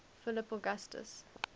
philip augustus